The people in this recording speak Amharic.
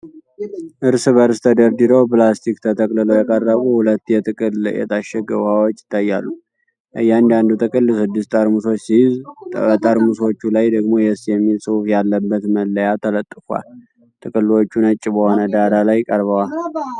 እርስ በርስ ተደርድረው በፕላስቲክ ተጠቅልለው የቀረቡ ሁለት የጥቅል የታሸገ ውሃዎች ይታያሉ። እያንዳንዱ ጥቅል ስድስት ጠርሙሶች ሲይዝ፣ በጠርሙሶቹ ላይ ደግሞ "YES" የሚል ጽሑፍ ያለበት መለያ ተለጥፏል። ጥቅሎቹ ነጭ በሆነ ዳራ ላይ ቀርበዋል።